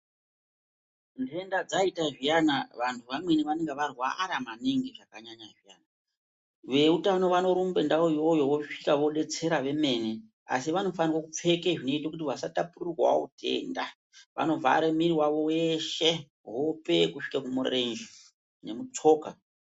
Ndenda dzaita zviyana vantu vamweni vanenge varwara maningi zvakanyanyanyanya, veutano vanorumbe ndawo iyoyo vosvika vobetsera vemene asi vakofanirwe kupfeke zvinoite kuti vasatapurirwawo utenda vanovhare mwiri wavo weshe hope kusvike kumurenje nemutsoka.